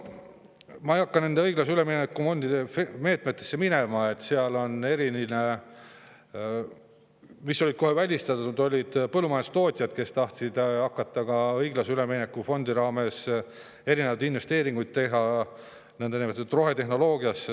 Ma ei hakka nende õiglase ülemineku fondi meetmete minema, aga seal olid kohe välistatud põllumajandustootjad, kes tahtsid õiglase ülemineku fondi raames ka teha investeeringuid nõndanimetatud rohetehnoloogiasse.